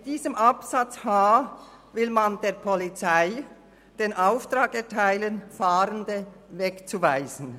Mit diesem Buchstaben h will man der Polizei den Auftrag erteilen, Fahrende wegzuweisen.